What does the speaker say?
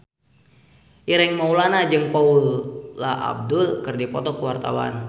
Ireng Maulana jeung Paula Abdul keur dipoto ku wartawan